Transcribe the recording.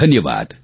ધન્યવાદ